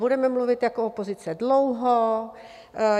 Budeme mluvit jako opozice dlouho.